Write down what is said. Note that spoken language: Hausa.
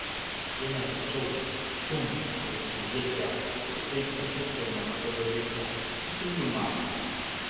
Yana da kyau mutum ya koyi yadda zai iya tattauna matsalolinsa cikin lumana.